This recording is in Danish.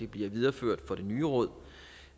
blive videreført for det nye råd